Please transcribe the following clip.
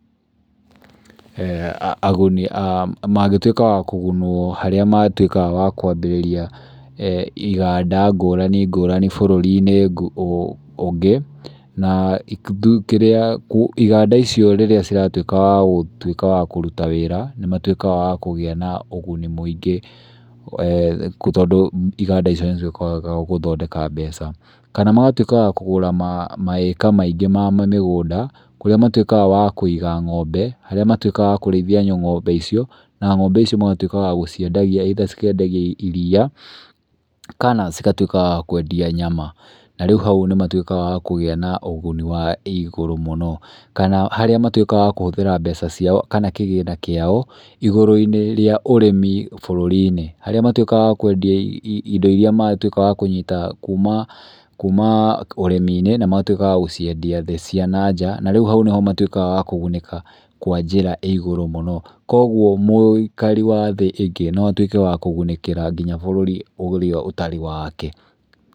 Aguni a mangĩtuĩka wa kũgunũo harĩa matuĩka wa kwambĩrĩria iganda ngũrani ngũrani bũrũri-inĩ ũngĩ, na kĩrĩa, iganda icio rĩrĩa ciratuĩka wa gũtuĩka wa kũruta wĩra, nĩ matuĩkaga wa kũgĩa na ũguni mũingĩ. Tondũ iganda icio nĩ cikoragwo gũthondeka mbeca. Kana magatuĩka wa kũgũra maĩka maingĩ ma mĩgũnda, kũrĩa matuĩkaga wa kũiga ng'ombe, harĩa matuĩkaga wa kũrĩithia ng'ombe icio, na ng'ombe icio magatuĩka wa gũcinedagia, ĩitha cikendagia iria, kana cigatuĩka wa kũendia nyama. Na rĩu hau nĩ matuĩkaga wa kũgĩa na ũguni wa igũrũ mũno. Kana harĩa matuĩkaga wa kũhũthĩra mbeca ciao kana kĩgĩna kĩao igũrũ-inĩ ríĩ ũrĩmi bũrũri-inĩ. Harĩa matuĩkaga wa kũendia indo iria matuĩka wa kũnyita kuma ũrĩmi-inĩ na magatuĩka wa gũciendia thĩ cia na nja na rĩu hau niho matuĩkaga wa kũgunĩka kwa njĩra ĩ igũrũ mũno. Koguo mũikari wa thĩ ĩngĩ no atuĩke wa kũgunĩkĩra nginya bũrũri ũrĩa ũtarĩ wake.